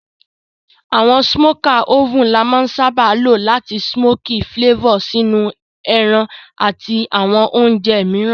Àwon smoker oven la má n sábá lo làti smoky flavor sínú ẹran àti àwon ounje mìíràn